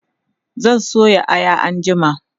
zan soya Aya anjima